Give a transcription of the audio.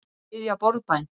Þau biðja borðbæn.